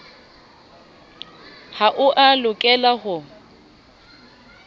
ha o a lokela ho